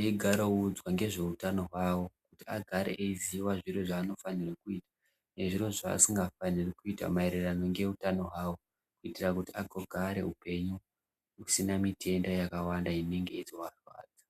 eigara audzwa ngezve utano hwavo kuti agare eiziva zviro zvaanofanirwe kuita nezviro zvaasingafaniri kuita maererano neutano hwavo kuitira kuti vago gare upenyu husina mitenda yakawanda inenge ichizovarwadza.